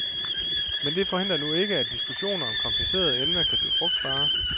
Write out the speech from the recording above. Men det forhindrer nu ikke, at diskussioner om komplicerede emner kan blive frugtbare.